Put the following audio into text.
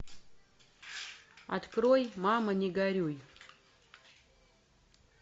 открой мама не горюй